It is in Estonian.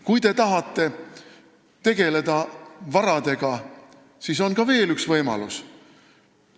Kui te tahate tegeleda varadega, siis on veel üks võimalus.